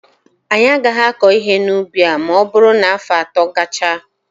Anyị agaghị akọ ihe n'ubi a ma ọ bụrụ na afọ atọ gachaa.